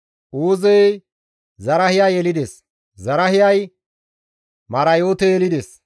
Uuzey Zarahiya yelides; Zarahiyay Marayoote yelides;